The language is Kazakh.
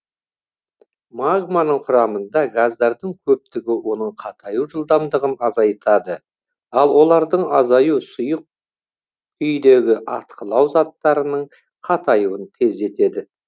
магманың құрамында газдардың көптігі оның қатаю жылдамдығын азайтады ал олардың азаюы сұйық күйдегі атқылау заттарының қатаюын тездетеді